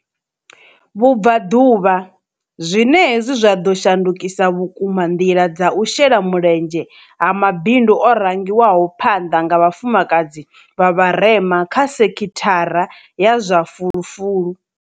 Vhubvaḓuvha, zwine hezwi zwa ḓo shandukisa vhukuma nḓila dza u shela mulenzhe ha ma bindu o rangiwaho phanḓa nga vhafumakadzi vha vharema kha sekhithara ya zwa fulufulu.